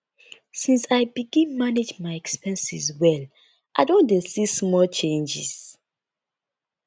since i begin manage my expenses well i don dey see small changes